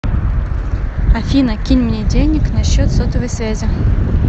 афина кинь мне денег на счет сотовой связи